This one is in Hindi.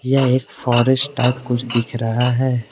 यह एक फॉरेस्ट टाइप कुछ दिख रहा है।